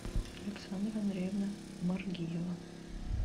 александра андреевна маргиева